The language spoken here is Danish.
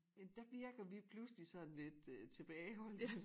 Men der virker vi pludselig sådan lidt øh tilbageholdende